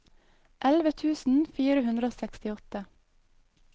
elleve tusen fire hundre og sekstiåtte